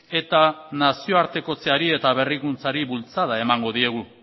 eta nazioartekotzeari eta berrikuntzari bultzada emango diegu